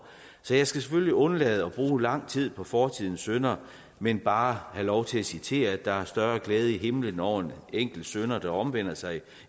jeg skal selvfølgelig undlade at bruge lang tid på fortidens synder men bare have lov til at citere at der er større glæde i himlen over en enkelt synder der omvender sig